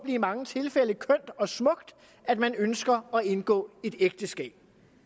i mange tilfælde kønt og smukt at man ønsker at indgå et ægteskab